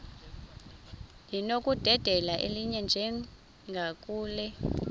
linokudedela elinye njengakule